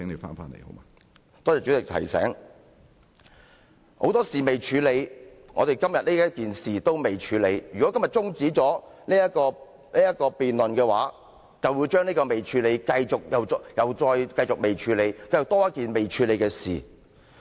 我們有很多事尚未處理，我們今天討論的事宜亦未處理，如果今天中止這項辯論，便會將這未處理的事宜，繼續不處理，這又增加一件未處理的事宜。